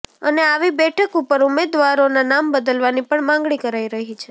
અને આવી બેઠક ઉપર ઉમેદવારોના નામ બદલવાની પણ માંગણી કરાઇ રહી છે